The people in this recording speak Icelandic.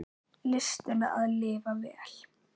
Listina að lifa vel.